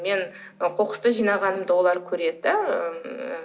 мен қоқысты жинағанымды олар көреді де ыыы